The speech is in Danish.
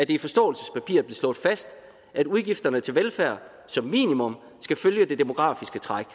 i forståelsespapiret blev slået fast at udgifterne til velfærd som minimum skal følge det demografiske træk